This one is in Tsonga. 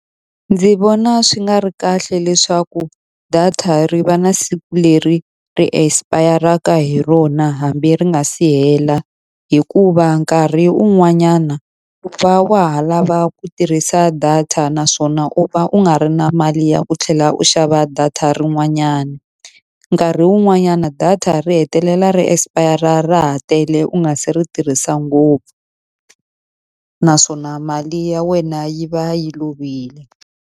Ndzi vona swi nga ri kahle leswaku data ri va na siku leri ri expire-raka hi rona hambi ri nga si hela. Hikuva nkarhi wun'wanyana u va wa ha lava ku tirhisa data naswona u va u nga ri na mali ya u tlhela u xava data rin'wanyana. Nkarhi wun'wanyana data ri hetelela ri expire-ra ra ha tele u nga se ri tirhisa ngopfu, naswona mali ya wena yi va yi lovile.